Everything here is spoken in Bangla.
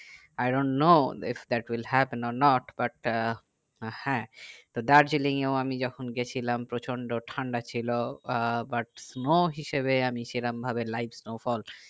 i dont know if that will have not but a হ্যাঁ তো দার্জিলিং এ ও আমি যখন গেছিলাম প্রচন্ড ঠান্ডা ছিল ব আহ but snow হিসাবে আমি সেরকম ভাবে live snowfall